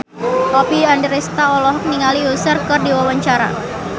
Oppie Andaresta olohok ningali Usher keur diwawancara